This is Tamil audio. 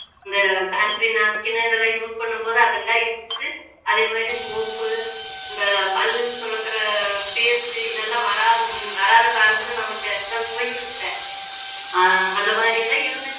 இந்த sanitary napkin இதெல்லாம் use பண்ணும் போது அதெல்லாம் இருந்துச்சு அதே மாதிரி soap உ இந்த பல் துலக்குற paste உ இதெல்லாம் வராத வராத காலத்துல நம்மளுக்கு எந்த நோயும் இல்லை ஆஹ் அந்த மாதிரி எல்லாம் இருந்துச்சு